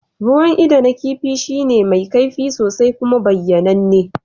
Ruwan ido na kifi shine mai kaifi sosai kuma bayyananne.